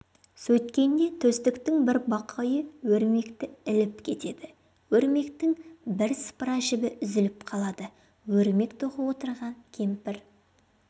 сөйткенде төстіктің бір бақайы өрмекті іліп кетеді өрмектің бірсыпыра жібі үзіліп қалады өрмек тоқып отырған кемпір